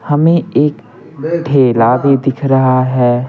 हमें एक ठेला भी दिख रहा है।